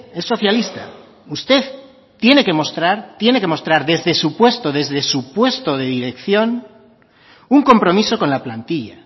es socialista usted tiene que mostrar desde su puesto desde su puesto de dirección un compromiso con la plantilla